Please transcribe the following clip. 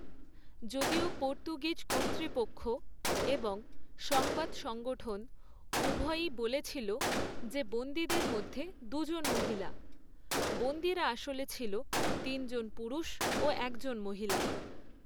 যদিও পর্তুগিজ কর্তৃপক্ষ এবং সংবাদ সংগঠন উভয়ই বলেছিল যে বন্দীদের মধ্যে দুজন মহিলা, বন্দীরা আসলে ছিল তিনজন পুরুষ ও একজন মহিলা।